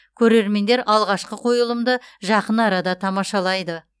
көрермендер алғашқы қойылымды жақын арада тамашалайды